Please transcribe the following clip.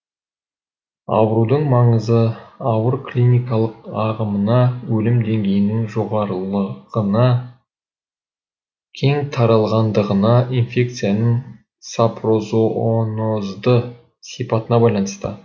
аурудың маңызы ауыр клиникалық ағымына өлім деңгейінің жоғарылығына кең таралғандығына инфекцияның сапрозоонозды сипатына байланысты